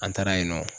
An taara yen nɔ